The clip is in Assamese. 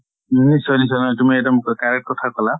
নিশ্চয় নিশ্চয়। তুমি এক্দম correct কথা কলা।